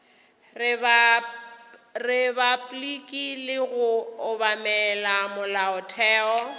repabliki le go obamela molaotheo